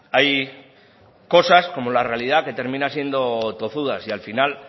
hay cosas como la realidad que termina siendo tozuda si al final